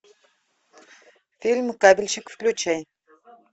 фильм кабельщик включай